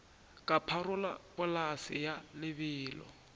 ka pharola polase ya lebelo